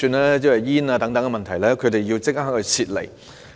他們面對濃煙等問題，需要立即撤離。